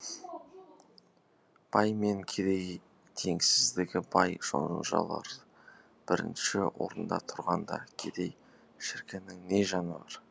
бай мен керей теңсіздігі бай шонжарлар бірінші орында тұрғанда кедей шіркіннің не жаны бар